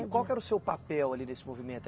Qual que era o seu papel ali nesse movimento?